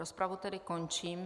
Rozpravu tedy končím.